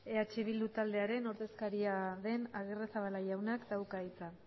eh bildu taldearen ordezkaria den agirrezabala jaunak dauka hitza